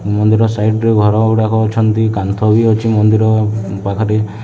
ମନ୍ଦିର ସାଇଡ୍ ରେ ଘର ଉଡ଼ାକ ଅଛନ୍ତି। କାନ୍ଥ ବି ଅଛି ମନ୍ଦିର ପାଖରେ।